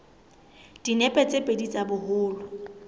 dinepe tse pedi tsa boholo